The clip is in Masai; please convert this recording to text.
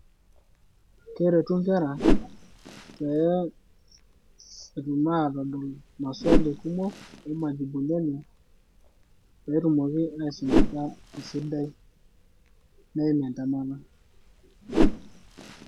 Keretu inkera pee, etum aatodol maswali kumok oo majibuni enye pee etum aasumata kesidai neim entemata.